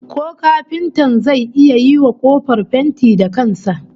Ko kafintan zai iya yiwa kofar fenti da kan sa?